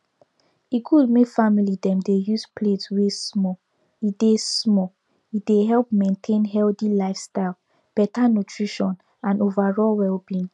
e good may family dem dey use plate wey small e dey small e dey help maintain healthy lifestyle better nutrition and overall wellbeing